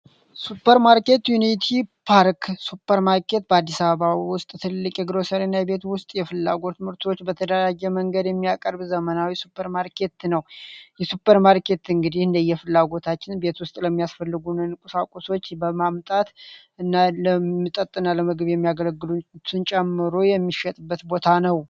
የሱፐር ማርኬት ዩኒቲ ፓርክ ሱፐር ማርኬት በአዲስ አበባ በግሮሰሪ እና የተለያዩ ምርቶችን በተለያየ መንገድ የሚያቀርቡ ሱፐርማርኬት ነው። ይህ ሱፐር ማርኬት እንግዲህ እንደየፍላጎታችን የሚያስፈልጉ ቁሳቁሶች በመምጣት እና ለምግብ እና ለመጠጥ የሚያገለግሉን ጨምሮ የሚገኝበት ቦታ ነው።